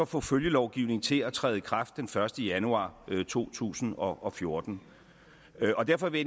få følgelovgivningen til at træde i kraft den første januar to tusind og og fjorten og derfor vil